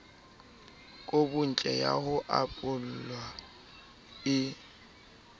kobontle ya ho apolwa e